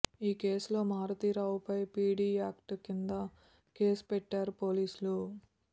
ఈ కేసులో మారుతీరావుపై పీడీ యాక్ట్ కింద కేసు పెట్టారు పోలీసులు